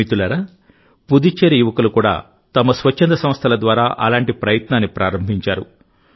మిత్రులారాపుదుచ్చేరి యువకులు కూడా తమ స్వచ్ఛంద సంస్థల ద్వారా అలాంటి ప్రయత్నాన్ని ప్రారంభించారు